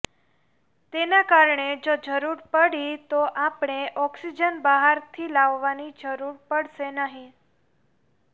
તેના કારણે જો જરૂર પડી તો આપણે ઓક્સિજન બહારથી લાવવાની જરૂર પડશે નહીં